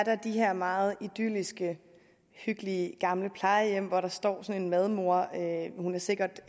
de her meget idylliske hyggelige gamle plejehjem hvor der står sådan en madmor hun er sikkert